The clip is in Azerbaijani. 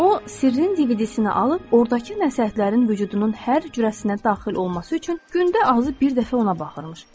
O sirrin DVD-sini alıb, ordakı nəsihətlərin vücudunun hər cürəsinə daxil olması üçün gündə azı bir dəfə ona baxırmış.